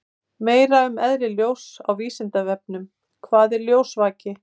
Meira um eðli ljóss á Vísindavefnum: Hvað er ljósvaki?